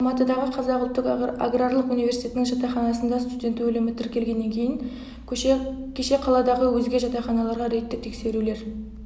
алматыдағы қазақ ұлттық аграрлық университетінің жатақханасында студент өлімі тіркелгеннен кейін кеше қаладағы өзге жатақханаларға рейдтік тексерулер